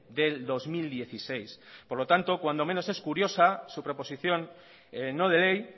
del dos mil dieciséis por lo tanto cuando menos es curiosa su proposición no de ley